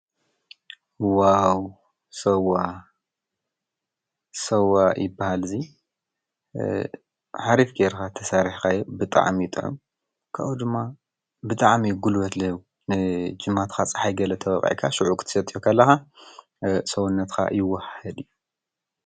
ው ዋ ሠዋ ይበል ዙይ ኃሪፍ ገይርኻ ተሳሪሕኻየ ብጥዓሚይጠዑ ካኡ ድማ ብጥዓሚ ይጕልበትለይ ጅማትኻ ፀሒይ ገለ ተበቓይካ ሽዑ ኽትሰትዮ ካለሃ ሠውነትካ ይወህድ እዩ::